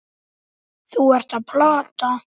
Þú ert að plata.